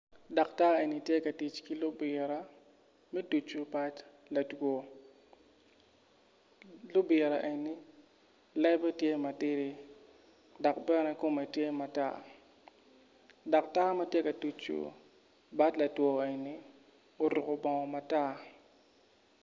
Daktar eni tye ka tic ki lubira me tuco bad latwo lubira eni lebe tye matidi dok bene kome tye matar daktar matye ka tucu bad latwo eni oruko bongo matar.